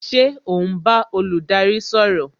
Ṣé o n bá olùdarí sọ̀rọ̀?